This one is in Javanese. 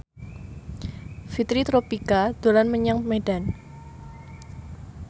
Fitri Tropika dolan menyang Medan